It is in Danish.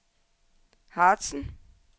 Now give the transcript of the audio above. Harzen